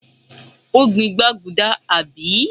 ó gbìn gbaguda, àbí?